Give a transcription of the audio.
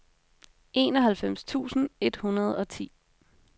enoghalvfems tusind et hundrede og ti